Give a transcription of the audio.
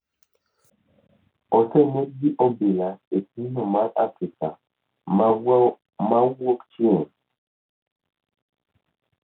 oseneg gi obila e pinyno mar Afrika ma Wuokchieng'